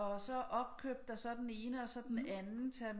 Og så opkøbt af så den ene og så den anden